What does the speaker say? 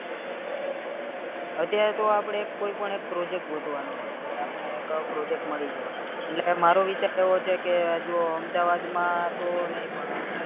અત્યારે તો આપડે કોઈ પણ એક project ગોતવનો છે આપને એક project મળી જાય એટલે મારો વિચાર એવો છે કે જો અમદાવાદ માં તો નય પણ